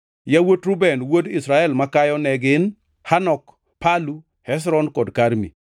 Yawuot Reuben wuod Israel makayo ne gin: Hanok, Palu, Hezron kod Karmi.